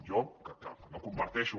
jo que no comparteixo